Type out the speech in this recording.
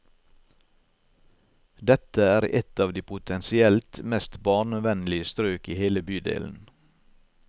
Dette er et av de potensielt mest barnevennlige strøk i hele bydelen.